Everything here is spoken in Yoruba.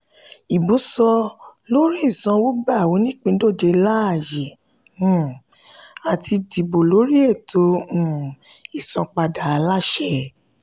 ìbò sọ-lórí-ìsanwógba onípíndọ̀jẹ̀ láàyè um láti dìbò lórí ètò um ìsanpadà aláṣẹ.